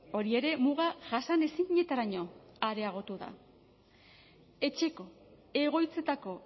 hori ere muga jasanezinetaraino areagotu da etxeko egoitzetako